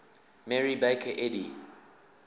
mary baker eddy